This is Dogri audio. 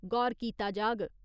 गौर कीता जाग।